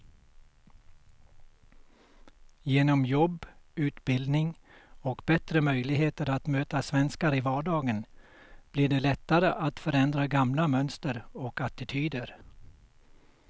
Genom jobb, utbildning och bättre möjligheter att möta svenskar i vardagen blir det lättare att förändra gamla mönster och attityder.